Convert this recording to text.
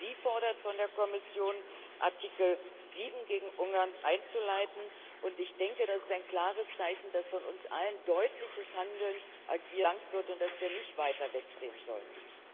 Sie fordert von der Kommission, Artikel 7 gegen Ungarn einzuleiten, und ich denke, das ist ein klares Zeichen, dass von uns ein deutliches Handeln verlangt wird und dass wir nicht weiter wegsehen sollten.